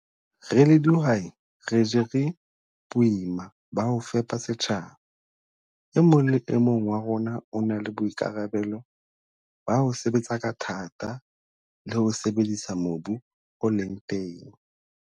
Re le dihwai re jere boima ba ho fepa setjhaba. E mong le e mong wa rona o na le boikarabelo ba ho sebetsa ka thata le ho sebedisa mobu o leng teng.